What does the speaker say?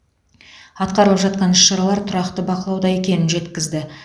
атқарылып жатқан іс шаралар тұрақты бақылауда екенін жеткізді